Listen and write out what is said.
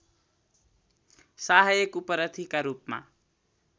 सहायक उपरथीका रूपमा